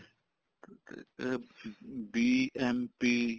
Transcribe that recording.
ਤੇ ਇਹ BMP